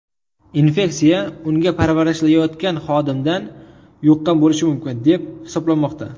Infeksiya unga parvarishlayotgan xodimdan yuqqan bo‘lishi mumkin, deb hisoblanmoqda .